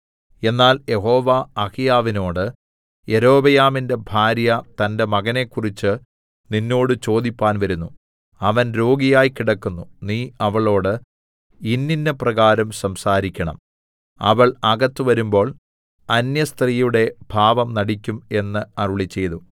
എന്നാൽ യഹോവ അഹീയാവിനോട് യൊരോബെയാമിന്റെ ഭാര്യ തന്റെ മകനെക്കുറിച്ച് നിന്നോട് ചോദിപ്പാൻ വരുന്നു അവൻ രോഗിയായി കിടക്കുന്നു നീ അവളോട് ഇന്നിന്നപ്രകാരം സംസാരിക്കണം അവൾ അകത്ത് വരുമ്പോൾ അന്യസ്ത്രീയുടെ ഭാവം നടിക്കും എന്ന് അരുളിച്ചെയ്തു